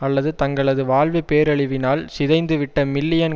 அல்லது தங்களது வாழ்வு பேரழிவினால் சிதைந்து விட்ட மில்லியன்